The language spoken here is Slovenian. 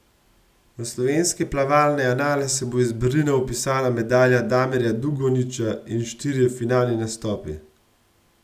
V slovenske plavalne anale se bo iz Berlina vpisala medalja Damirja Dugonjića in štirje finalni nastopi.